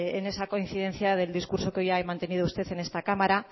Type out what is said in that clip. en esa coincidencia del discurso que hoy ha mantenido usted en esta cámara